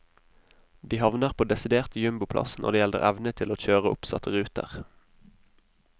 De havner på desidert jumboplass når det gjelder evne til kjøre oppsatte ruter.